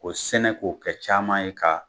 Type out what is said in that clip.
K'o sɛnɛ k'o kɛ caaman ye ka